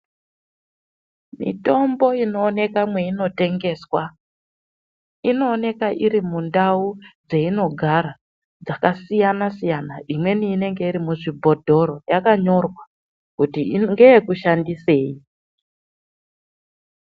Mitombo inoonekwa mweino tengeswa, inooneka iri mundau dzeinogara , dzakasiyana-siyana, imweni inenge iri muzvibhodhoro yakanyorwa, kuti ino ngeye kushandisei.